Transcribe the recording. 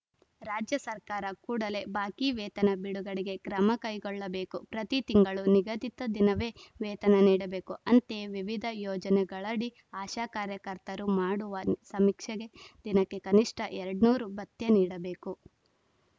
ರಾಜ್ಯ ಸರ್ಕಾರ ಕೂಡಲೇ ಬಾಕಿ ವೇತನ ಬಿಡುಗಡೆಗೆ ಕ್ರಮ ಕೈಗೊಳ್ಳಬೇಕು ಪ್ರತಿ ತಿಂಗಳು ನಿಗದಿತ ದಿನವೇ ವೇತನ ನೀಡಬೇಕು ಅಂತೆಯೆ ವಿವಿಧ ಯೋಜನೆಗಳಡಿ ಆಶಾ ಕಾರ್ಯಕರ್ತರು ಮಾಡುವ ಸಮೀಕ್ಷೆಗೆ ದಿನಕ್ಕೆ ಕನಿಷ್ಠ ಎರಡ್ನೂರು ಭತ್ಯೆ ನೀಡಬೇಕು